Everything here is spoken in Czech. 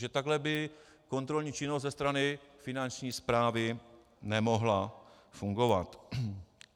Že takhle by kontrolní činnost ze strany Finanční správy nemohla fungovat.